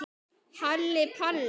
Halli Palli.